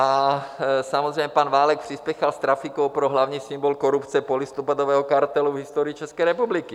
A samozřejmě pan Válek přispěchal s trafikou pro hlavní symbol korupce polistopadového kartelu v historii České republiky.